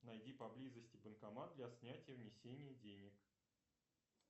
найди поблизости банкомат для снятия внесения денег